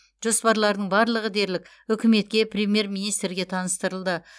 жоспарлардың барлығы дерлік үкіметке премьер министрге таныстырылды